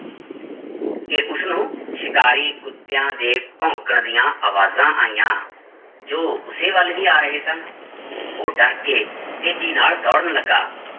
ਕਿ ਉਸਨੂੰ ਸ਼ਿਕਾਰੀ ਕੁੱਤਿਆਂ ਦੇ ਭੋਂਕਣ ਦੀਆਂ ਆਵਾਜ਼ਾਂ ਆਈਆਂ ਜੋ ਉਸੇ ਵੱਲ ਹੀ ਆ ਰਹੇ ਸਨ ਉਹ ਡਰ ਕੇ ਤੇਜ਼ੀ ਨਾਲ ਦੌੜਨ ਲੱਗਾ,